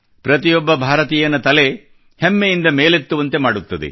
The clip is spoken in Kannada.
ಪ್ರತಿಯೊಬ್ಬ ಭಾರತೀಯನ ತಲೆ ಹೆಮ್ಮೆಯಿಂದ ಮೇಲೆತ್ತುವಂತೆ ಮಾಡುತ್ತದೆ